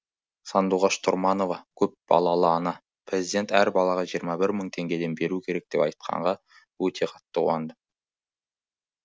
сандуғаш тұрманова көпбалалы ана президент әр балаға жиырма бір мың теңгеден беру керек деп айтқанға өте қатты қуандым